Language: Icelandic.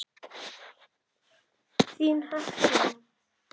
Þín, Hekla.